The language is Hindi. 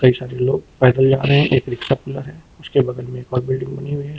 कई सारे लोग पैदल जा रहे हैं। एक रिक्शा खुला है। उसके बगल में एक और बिल्डिंग बनी हुई है।